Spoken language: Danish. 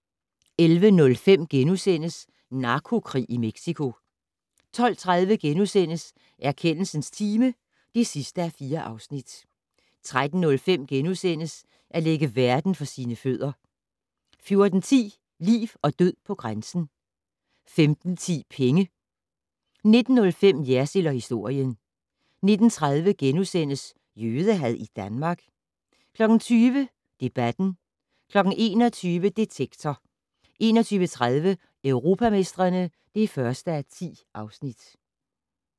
11:05: Narkokrig i Mexico * 12:30: Erkendelsens time (4:4)* 13:05: At lægge verden for sine fødder * 14:10: Liv og død på grænsen 15:10: Penge 19:05: Jersild & historien 19:30: Jødehad i Danmark? * 20:00: Debatten 21:00: Detektor 21:30: Europamestrene (1:10)